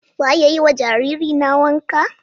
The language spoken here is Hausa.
Za a iya yi wa jaririna wanka?